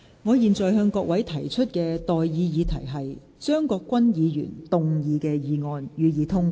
我現在向各位提出的待議議題是：張國鈞議員動議的議案，予以通過。